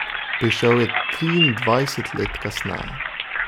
Prišel je triindvajset let kasneje.